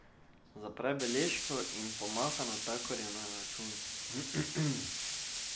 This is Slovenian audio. Zapre beležko in pomaha natakarju za račun.